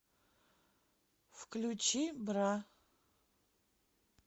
включи бра